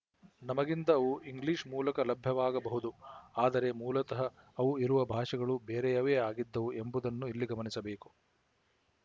ನಮಗಿಂದ ಅವು ಇಂಗ್ಲಿಶ ಮೂಲಕ ಲಭ್ಯವಾಗಬಹುದು ಆದರೆ ಮೂಲತ ಅವು ಇರುವ ಭಾಷೆಗಳು ಬೇರೆಯವೇ ಆಗಿದ್ದವು ಎಂಬುದನ್ನು ಇಲ್ಲಿ ಗಮನಿಸಬೇಕು